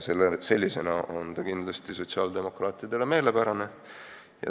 Sellisena on see kindlasti sotsiaaldemokraatidele meelepärane.